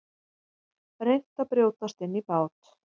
Reynt að brjótast inn í bát